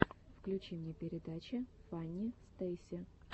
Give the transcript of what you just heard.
включи мне передачи фанни стейси